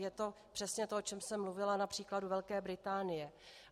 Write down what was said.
Je to přesně to, o čem jsem mluvila například u Velké Británie.